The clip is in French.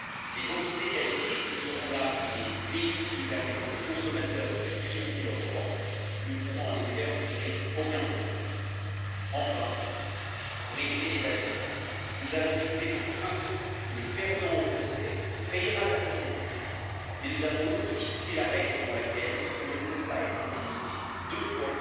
Les entités qualifiées, qui ne seront là que des véhicules permettant aux consommateurs de faire triompher leurs droits, ne pourront en effet en tirer aucun profit. Enfin, pour éviter les abus, nous avons fixé pour principe que le perdant au procès paiera la procédure, mais nous avons aussi fixé la règle selon laquelle on ne peut pas être indemnisé deux fois